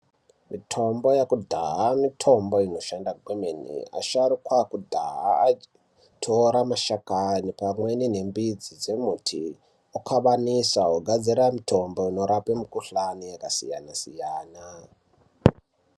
Mitombo yekudhaya mitombo inoshanda kwemene. Asharukwa ekudhaya aitora mashakani pamwe nemidzi yembiti vokabanisa vogadzira mitombo inorape mikuhlane yakasiyana-siyana.